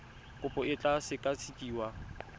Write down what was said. kopo e tla sekasekiwa ka